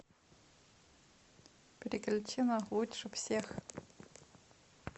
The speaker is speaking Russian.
переключи на лучше всех